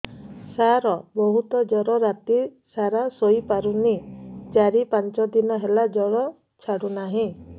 ସାର ବହୁତ ଜର ରାତି ସାରା ଶୋଇପାରୁନି ଚାରି ପାଞ୍ଚ ଦିନ ହେଲା ଜର ଛାଡ଼ୁ ନାହିଁ